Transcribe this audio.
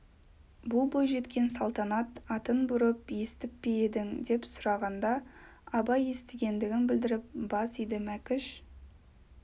бұл бойжеткен салтанат атын бұрын естіп пе едің деп сұрағанда абай естігендігін білдіріп бас иді мәкіш